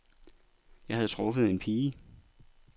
Jeg havde truffet en pige.